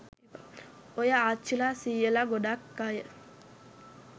ඔය ආච්චිලා සීයලා ගොඩක් අය